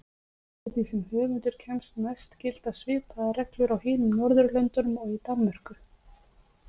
Eftir því sem höfundur kemst næst gilda svipaðar reglur á hinum Norðurlöndunum og í Danmörku.